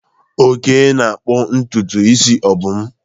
Oke na-akpụ ntutu isi Obum.